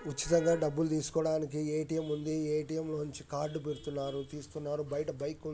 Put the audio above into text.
ఉచితంగా డబ్బులు తీసుకోవడానికి ఏటీఎం ఉంది. ఏటీఎం లో నుంచి కార్డు పెడుతున్నారు. తీస్తున్నారు. బయట బైకు ఉం--